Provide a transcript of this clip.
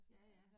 Ja ja